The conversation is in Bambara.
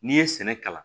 N'i ye sɛnɛ kalan